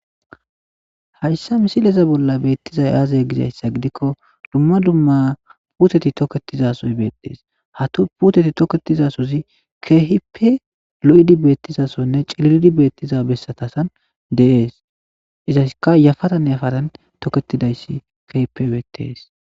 hayssa misileza bolla beettizay aazay gizayssa gidikko dumma dumma puteti tokketizasoy beetdees hatu puuteti toketizasozi kehipe lo7idi beettizasonne ciliridi beettiza bessatasan deees izaska yafatan yafatan tokketidayssi kehipe beettees